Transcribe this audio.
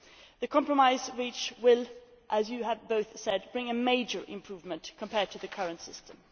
The compromise reached will as you have both said bring a major improvement compared to the current system.